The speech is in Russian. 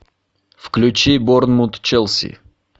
включи борнмут челси